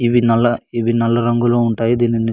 ఇవి ఇవి నల్ల రంగులో ఉంటాయి --